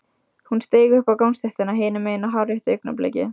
Hún steig upp á gangstéttina hinum megin á hárréttu augnabliki.